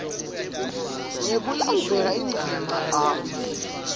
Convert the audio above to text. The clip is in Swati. ngekulandzela indzima a